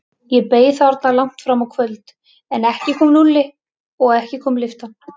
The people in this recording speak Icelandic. Ég beið þarna langt fram á kvöld, en ekki kom Lúlli og ekki kom lyftan.